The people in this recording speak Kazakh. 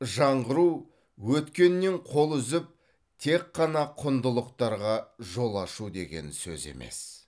жаңғыру өткеннен қол үзіп тек жаңа құндылықтарға жол ашу деген сөз емес